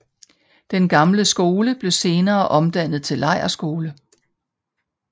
Den gamle skole blev senere omdannet til lejrskole